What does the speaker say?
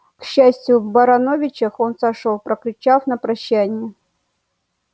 к счастью в барановичах он сошёл прокричав на прощание